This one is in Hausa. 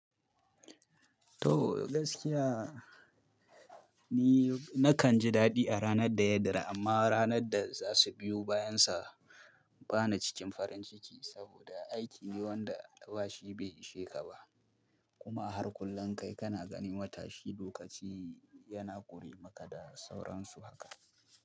To gaskiya ni nakan ji daɗi a ranar da ya dira amma ranar da za su biyo bayan sa bana cikin farin ciki saboda aiki ne wanda da albashi bai ishe ka ba. Kuma har kullun kai kana ganin wata shi lokaci yana ƙure maka da sauransu haka.